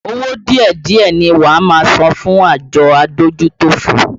Owó díẹ̀díẹ̀ ni wá máa san fún àjọ adójútòfò